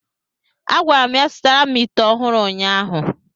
A gwara m ya zụtara m ite ọhụrụ ụnyaahụ!